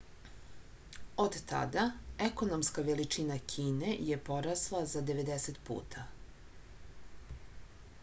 od tada ekonomska veličina kine je porasla za 90 puta